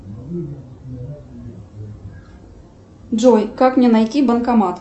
джой как мне найти банкомат